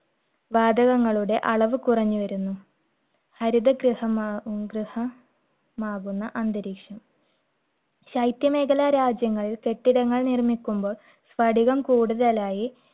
വാതകങ്ങളുടെ അളവ് കുറഞ്ഞു വരുന്നു. ഹരിത ഗൃഹ ~ ഗൃഹമാകുന്ന അന്തരീക്ഷം . ശൈത്യ മേഖല രാജ്യങ്ങൾ കെട്ടിടങ്ങൾ നിർമ്മിക്കുമ്പോൾ സ്പടികം കൂടുതലായി